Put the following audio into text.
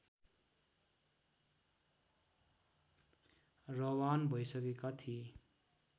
रवान भइसकेका थिए